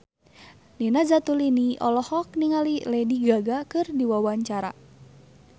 Nina Zatulini olohok ningali Lady Gaga keur diwawancara